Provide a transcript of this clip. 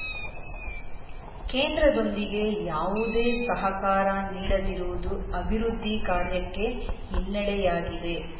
ಕೇಂದ್ರದೊಂದಿಗೆ ಯಾವುದೇ ಸಹಕಾರ ನೀಡದಿರುವುದು ಅಭಿವೃದ್ಧಿ ಕಾರ್ಯಕ್ಕೆ ಹಿನ್ನೆಡೆಯಾಗಿದೆ